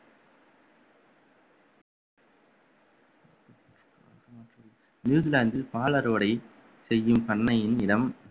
நியூசிலாந்தில் பால் அறுவடை செய்யும் பண்ணையின் இடம்